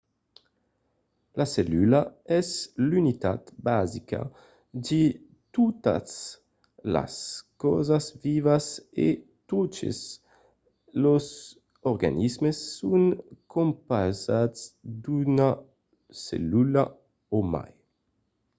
la cellula es l'unitat basica de totas las causas vivas e totes los organismes son compausats d'una cellula o mai